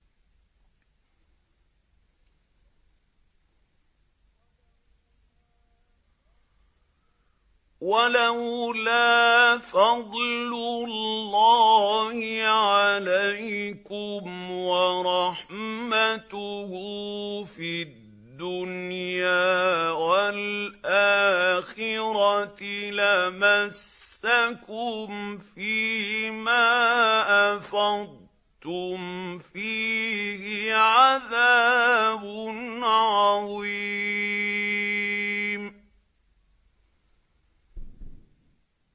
وَلَوْلَا فَضْلُ اللَّهِ عَلَيْكُمْ وَرَحْمَتُهُ فِي الدُّنْيَا وَالْآخِرَةِ لَمَسَّكُمْ فِي مَا أَفَضْتُمْ فِيهِ عَذَابٌ عَظِيمٌ